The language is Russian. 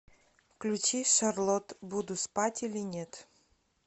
включи шарлот буду спать или нет